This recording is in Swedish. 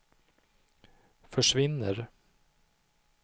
försvinner